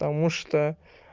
тому что